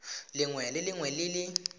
lengwe le lengwe le le